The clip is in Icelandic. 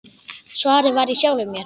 Svarið var í sjálfum mér.